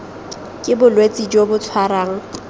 ke bolwetse jo bo tshwarang